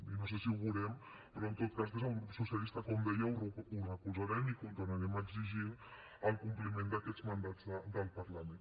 i no sé si ho veurem però en tot cas des del grup socialista com deia ho recolzarem i continuarem exigint el compliment d’aquests mandats del parlament